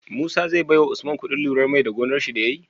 Musa zai bawa usman kuɗin lurar mai da gonar shi da yayi?